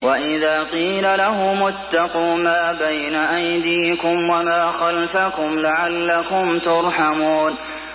وَإِذَا قِيلَ لَهُمُ اتَّقُوا مَا بَيْنَ أَيْدِيكُمْ وَمَا خَلْفَكُمْ لَعَلَّكُمْ تُرْحَمُونَ